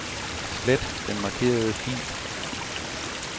Slet den markerede fil.